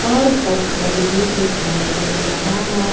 और पत्थल भी दिखाई दे रहा है।